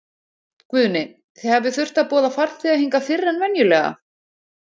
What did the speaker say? Guðni, þið hafið þurft að boða farþega hingað fyrr en venjulega?